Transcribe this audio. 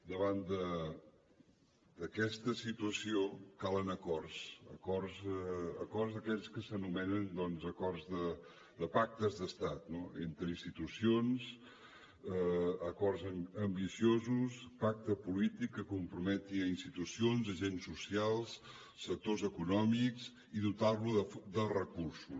davant d’aquesta situació calen acords acords d’aquells que s’anomenen acords de pactes d’estat entre institucions acords ambiciosos pacte polític que comprometi institucions agents socials sectors econòmics i dotar los de recursos